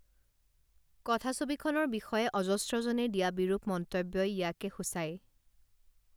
কথাছবিখনৰ বিষয়ে অজস্ৰজনে দিয়া বিৰূপ মন্তব্যই ইয়াকে সূচায়